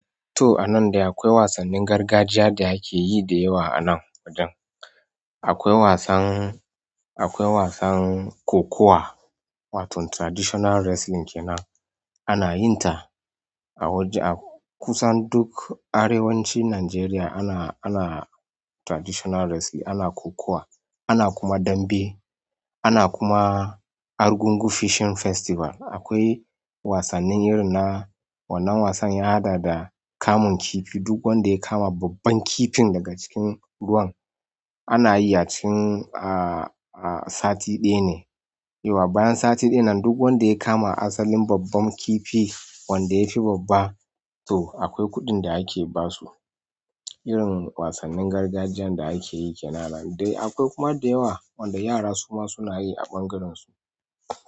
To a nan dai akwai wasannin gargajiya da ake yi da yawa a nan wajen. Akwai wasan, akwai wasan kokowa wato traditional wrestling kenan. Ana yin ta a waje kusan duk arewacin Najeriya ana, ana traditional wrestling, ana kokowa, ana kuma dambe, ana kuma Argungu Fishing Festival. Akwai wasannin irin na wannan wasan yahada da kamun kifi. Duk wanda ya kama babban kifin daga cikin ruwan ana yi ya cikin, ah, ah sati ɗaya ne. Yawwa bayan sati ɗaya nan duk wanda ya kama asalin babban kifi wanda ya fi babba to akwai kuɗin da ake ba su. Irin wasannin gargajiyan da akeyi kenan. Dai akwai kuma da yawa wanda yara su ma suna yi a ɓangariensu.